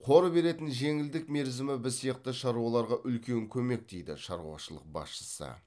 қор беретін жеңілдік мерзімі біз сияқты шаруаларға үлкен көмек дейді шаруашылық басшысы